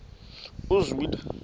uzwide